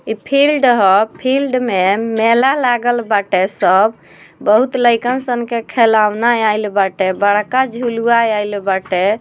इ फील्ड ह फील्ड में मेला लागल बाटे सब बहुत लइका सन के खेलौना आइल बाटे बड़का झुलुवा आइल बाटे।